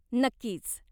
नक्कीच.